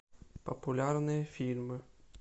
популярные фильмы